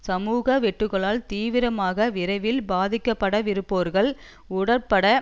சமூக வெட்டுக்களால் தீவிரமாக விரைவில் பாதிக்கப்படவிருப்போர்கள் உடட்பட